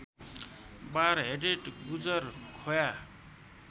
बार headed गुजर खोया